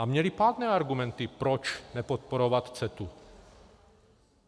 A měli pádné argumenty, proč nepodporovat CETA.